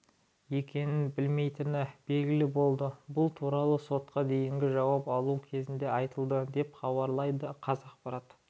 екенін білмейтіні белгілі болды бұл туралы сотқа дейінгі жауап алу кезінде айтылды деп хабарлайды қазақпарат